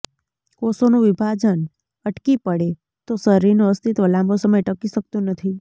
કોષોનું વિભાજન અટકી પડે તો શરીરનું અસ્તિત્વ લાંબો સમય ટકી શકતું નથી